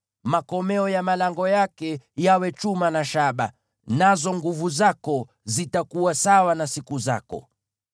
Makomeo ya malango yako yawe chuma na shaba, nazo nguvu zako zitakuwa sawa na siku zako.